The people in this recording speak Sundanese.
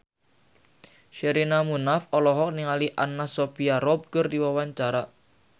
Sherina Munaf olohok ningali Anna Sophia Robb keur diwawancara